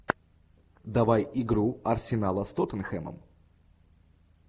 давай игру арсенала с тоттенхэмом